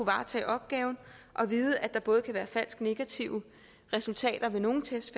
varetage opgaven og ved at der både kan være falsk negative resultater ved nogle test